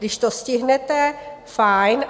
Když to stihnete, fajn.